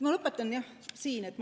Ma lõpetan siinkohal.